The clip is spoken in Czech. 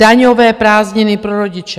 Daňové prázdniny pro rodiče.